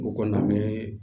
O kɔni an bɛ